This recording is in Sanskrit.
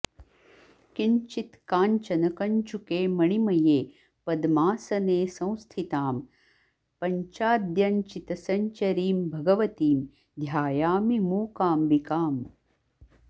किञ्चित्काञ्चनकञ्चुके मणिमये पद्मासने संस्थितां पञ्चाद्यञ्चितसञ्चरीं भगवतीं ध्यायामि मूकाम्बिकाम्